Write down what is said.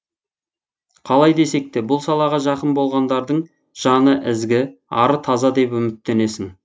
қалай десек те бұл салаға жақын болғандардың жаны ізгі ары таза деп үміттенесің